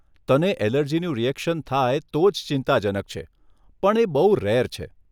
તને અલર્જીનું રીએક્શન થાય તો જ ચિંતાજનક છે પણ એ બહુ રેર છે.